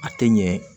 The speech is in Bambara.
A tɛ ɲɛ